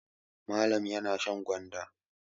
Malam yana shan gwanda.